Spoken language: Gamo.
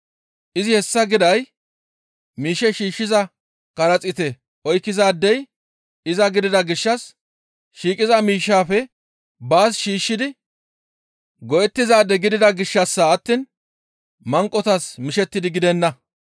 Izi hessa giday miish shiishshiza karaxiite oykkizaadey iza gidida gishshas shiiqiza miishshaafe baas shiishshidi go7ettizaade gidida gishshassa attiin manqotas mishettidi gidenna.